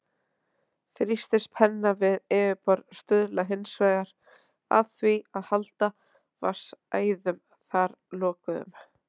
Þrýstispenna við yfirborð stuðlar hins vegar að því að halda vatnsæðum þar lokuðum.